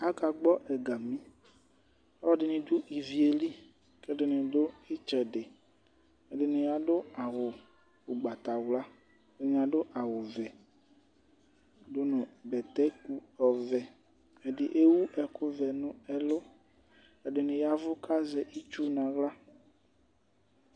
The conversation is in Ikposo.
Aka gbɔ̃ ɛgamì, ɔluɛdini dù ivie li, k'ɛdini dù itsɛdi, ɛdini adu awù ugbatawla, ɛdini adu awù vɛ du nu bɛtɛ ɔvɛ, ɛdi ewu ɛku vɛ nu ɛlu, ɛdini yavù k'azɛ itsu n'aɣla